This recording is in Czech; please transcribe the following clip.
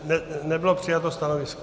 Nebylo přijato stanovisko.